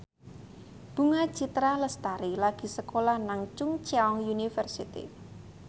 Bunga Citra Lestari lagi sekolah nang Chungceong University